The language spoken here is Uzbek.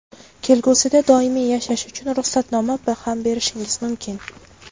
kelgusida doimiy yashash uchun ruxsatnoma ham berishimiz mumkin.